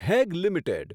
Hague limited